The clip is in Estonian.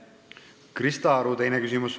Krista Aru, teine küsimus.